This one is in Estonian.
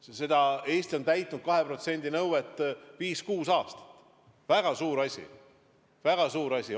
See, et Eesti on täitnud 2% nõuet viis‑kuus aastat, on väga suur asi.